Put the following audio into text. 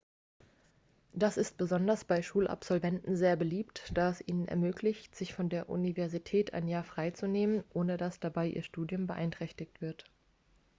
das ist besonders bei schulabsolventen sehr beliebt da es ihnen ermöglicht sich vor der universität ein jahr frei zu nehmen ohne dass dabei ihr studium beeinträchtigt wird